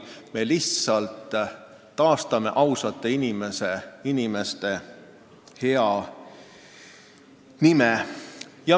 Me lihtsalt taastame ausate inimeste hea nime.